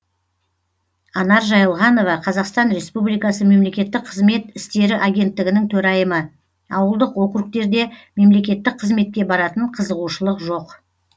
анар жайылғанова қазақстан республикасы мемлекеттік қызмет істері агенттігінің төрайымы ауылдық округтерде мемлекеттік қызметке баратын қызығушылық жоқ